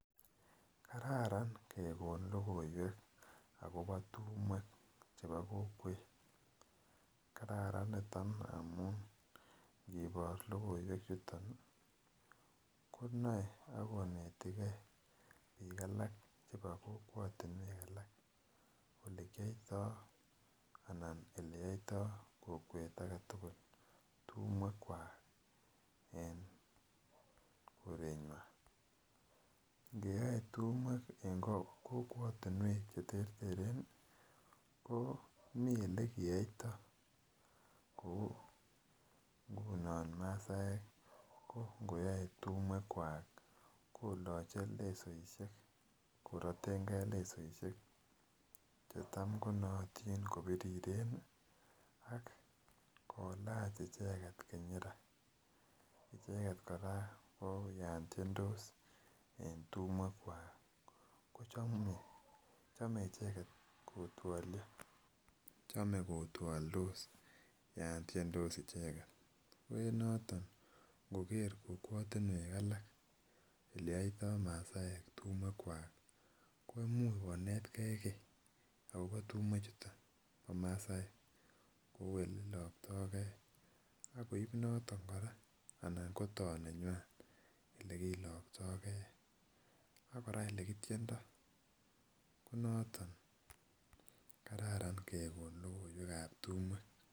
Kararan kekon lokoiwek akobo tumwek chebo kokwet , kararan niton amun nkibor lokoiwek chuton nii konoe akonetigee bik alak chebo kokwotunwek alak olekiyoito anan ele yoito kokwet aketukul tumwek kwak eh korenywan. Nkeyoe tumwek en kokwetunwek cheterteren nii ko mii olekeyoito nkunon masaek nkoyoe tumwek kwak koloche lesoishek korotengee lesoishek chetam konoton kopiriren Nii ak kilach icheket kinyira. Icheket Koraa ko yon tyendos en tumwek kwak ko chome icheket kotwolio, chome kokweoldos yon tyendos icheket ko en noton nkoker kokwotunwek alak ole yoito masaek tumwek kwak ko imuch konetgee kii akobo tumwek chuton bo masaek kou ole iloktogee akoibe noton Koraa anan kotoo neywan olekiloktogee akoraa olekityuendos ko noton kararan kekon lokoiwekab tumwek